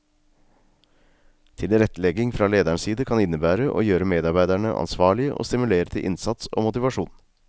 Tilrettelegging fra lederens side kan innebære å gjøre medarbeiderne ansvarlige og stimulere til innsats og motivasjon.